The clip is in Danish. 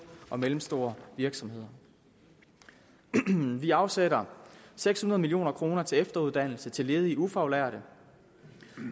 og mellemstore virksomheder vi afsætter seks hundrede million kroner til efteruddannelse til ledige ufaglærte